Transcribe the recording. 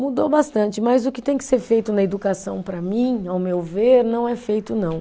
Mudou bastante, mas o que tem que ser feito na educação para mim, ao meu ver, não é feito não.